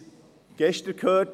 Wir haben es gestern gehört: